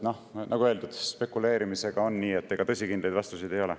Nagu öeldud, spekuleerimisega on nii, et ega tõsikindlaid vastuseid ei ole.